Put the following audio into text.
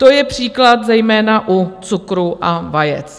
To je příklad zejména u cukru a vajec.